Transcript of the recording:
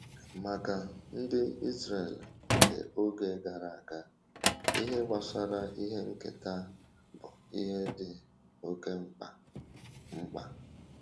Maka Ndị Israel nke oge gara aga, ihe gbasara ihe nketa bụ ihe dị oke mkpa. mkpa.